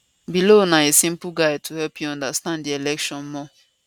below na a simple guide to help you understand di election more